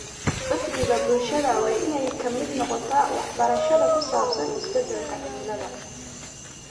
Uhdhigga bulshada waa in ay ka mid noqotaa waxbarashada ku saabsan isbedelka cimilada.